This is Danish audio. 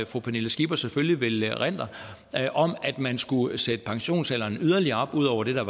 fru pernille skipper selvfølgelig vil erindre om at man skulle sætte pensionsalderen yderligere op ud over det der